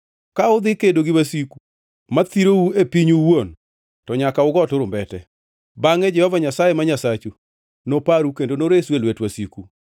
Ka udhi kedo gi wasiku ma thirou e pinyu owuon, to nyaka ugo turumbete. Bangʼe Jehova Nyasaye ma Nyasachu noparu kendo noresu e lwet wasiku.